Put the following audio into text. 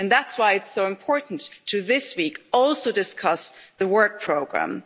And that's why it's so important this week also to discuss the work programme.